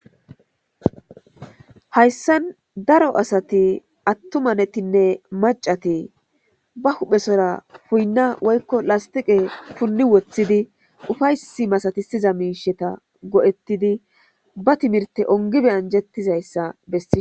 Hayssan daro asati attumanettine maccati ba huphphesora puyyina woyikko lastiqqe punni wothidi uffayssa masatisiza mishshata go'ettidi ba timiirtte onggidi anjettiza bessishe.